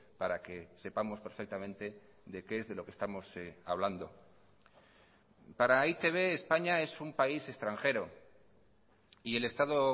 para que sepamos perfectamente de qué es de lo que estamos hablando para e i te be españa es un país extranjero y el estado